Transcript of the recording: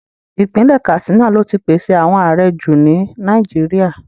Ipinle Katsina lo ti pese awọn aarẹ ju ni Nàìjíríà